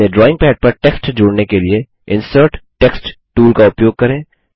अपने drawing pad पर text जोड़ने के लिए इंसर्ट टेक्स्ट टूल का उपयोग करें